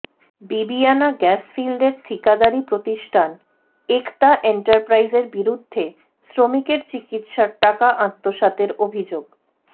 Bibiyana gas ফিল্ডের ঠিকাদারী প্রতিষ্টান একতা এন্টারপ্রাইজের বিরুদ্ধে শ্রমিকের চিকিৎসার টাকা আত্মসাতের অভিযোগ